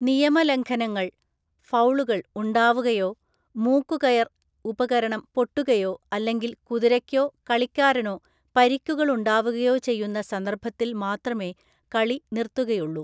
നിയമലംഘനങ്ങൾ (ഫൗളുകൾ) ഉണ്ടാവുകയോ മൂക്കുകയർ (ഉപകരണം) പൊട്ടുകയോ അല്ലെങ്കിൽ കുതിരയ്‌ക്കോ കളിക്കാരനോ പരിക്കുകൾ ഉണ്ടാവുകയോ ചെയ്യുന്ന സന്ദർഭത്തിൽ മാത്രമേ കളി നിർത്തുകയുള്ളൂ.